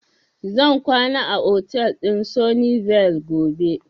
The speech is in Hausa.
Zan kwana a otal din Sunny Vale gobe.